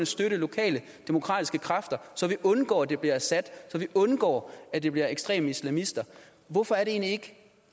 støtte lokale demokratiske kræfter så vi undgår at det bliver assad så vi undgår at det bliver ekstreme islamister hvorfor er det egentlig